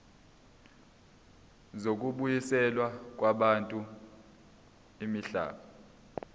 zokubuyiselwa kwabantu imihlaba